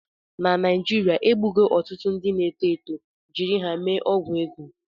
Na Naijiria, egbugo ọtụtụ ndị na-eto eto jiri ha mee ọgwụ ego